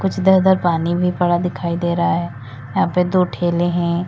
इधर उधर पानी भी पड़ा दिखाई दे रहा है यहां पर दो ठेले हैं।